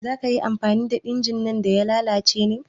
Za ka yi amfani da injin ɗin da ya lalace ne?